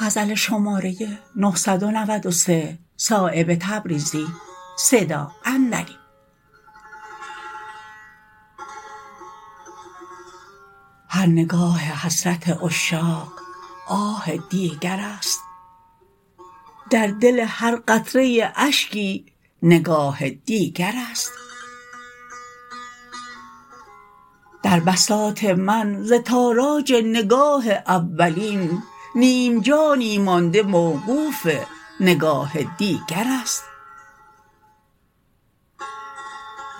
هر نگاه حسرت عشاق آه دیگرست در دل هر قطره اشکی نگاه دیگرست در بساط من ز تاراج نگاه اولین نیم جانی مانده موقوف نگاه دیگرست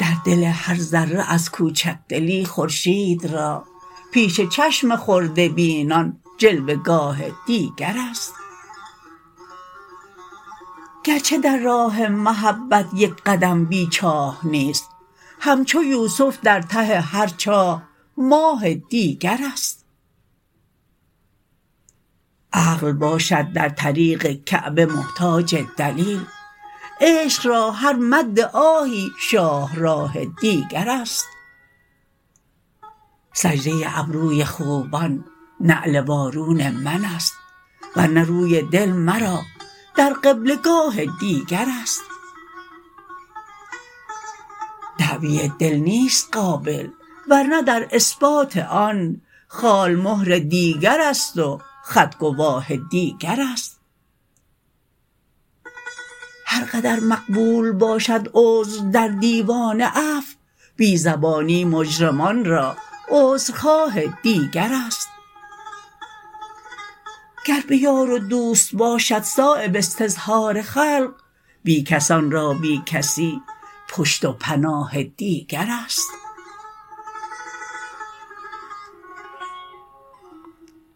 در دل هر ذره از کوچکدلی خورشید را پیش چشم خرده بینان جلوه گاه دیگرست گرچه در راه محبت یک قدم بی چاه نیست همچو یوسف در ته هر چاه ماه دیگرست عقل باشد در طریق کعبه محتاج دلیل عشق را هر مد آهی شاهراه دیگرست سجده ابروی خوبان نعل وارون من است ورنه روی دل مرا در قبله گاه دیگرست دعوی دل نیست قابل ورنه در اثبات آن خال مهر دیگرست و خط گواه دیگرست هر قدر مقبول باشد عذر در دیوان عفو بی زبانی مجرمان را عذرخواه دیگرست گر به یار و دوست باشد صایب استظهار خلق بیکسان را بی کسی پشت و پناه دیگرست